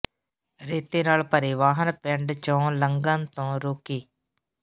ਰੇਤੇ ਨਾਲ ਭਰੇ ਵਾਹਨ ਪਿੰਡ ਚੋਂ ਲੰਘਣ ਤੋਂ ਰੋਕੇ